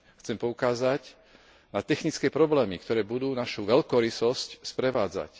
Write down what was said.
Chcem poukázať na technické problémy, ktoré budú našu veľkorysosť sprevádzať.